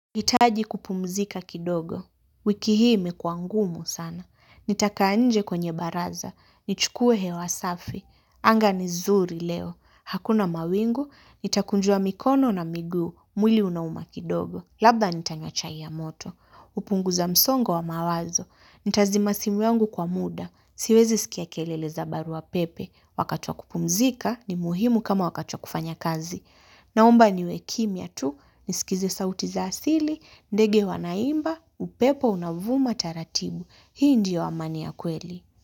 Hitaji kupumzika kidogo. Wiki hii imekuwa ngumu sana. Nitakaa nje kwenye baraza. Nichukue hewa safi. Anga ni zuri leo. Hakuna mawingu, nitakunjua mikono na miguu. Mwili unauma kidogo. Labda nitanywa chai ya moto. Kupunguza msongo wa mawazo. Nitazima simu yangu kwa muda. Siwezi sikia kelele za baruapepe. Wakati wa kupumzika ni muhimu kama wakati wa kufanya kazi. Naomba niwe kimya tu. Nisikize sauti za asili, ndege wanaimba, upepo unaovuma taratibu. Hii ndiyo amani ya kweli.